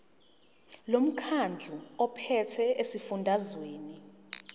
lomkhandlu ophethe esifundazweni